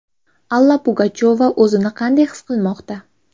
Alla Pugachyova o‘zini qanday his qilmoqda?.